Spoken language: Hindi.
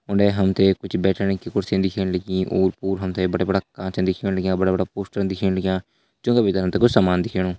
उडें हमते कुछ बैठण की कुर्सिन दिखेण लगीं। ओर पोर हमते बड़ा बड़ा कांचन दिखेण लग्यां बड़ा बड़ा पोस्टरन दिखेण लग्यां ज्युं का भीतर हमते कुछ सामान दिखेणु।